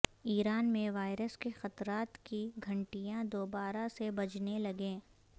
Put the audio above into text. ایران میں وائرس کے خطرات کی گھنٹیاں دوبارہ سے بجنے لگیں